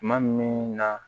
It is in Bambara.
Tuma min na